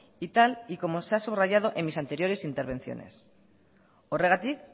y tal y como se ha subrayado en mis anteriores intervenciones horregatik